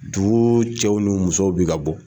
Dugu cɛw ni musow bɛ ka bɔ.